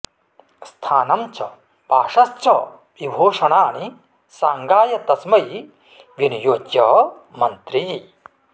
स्थानं च वासश्च विभूषणानि साङ्गाय तस्मै विनियोज्य मन्त्री